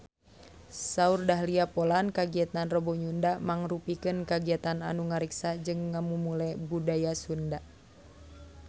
Saur Dahlia Poland kagiatan Rebo Nyunda mangrupikeun kagiatan anu ngariksa jeung ngamumule budaya Sunda